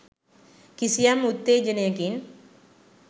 කිසියම් උත්තේජනයකින්